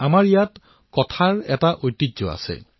আমাৰ ইয়াত সাধু কোৱাৰ পৰম্পৰা আছে